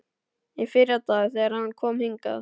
Í fyrradag, þegar hann kom hingað.